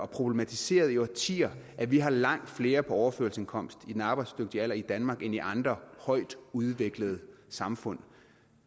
problematiseret i årtier at vi har langt flere på overførselsindkomst i den arbejdsdygtige alder i danmark end i andre højtudviklede samfund